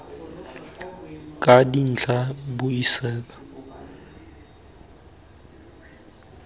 ka dintlha buisetsa kwa godimo